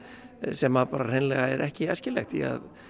sem hreinlega er ekki æskilegt því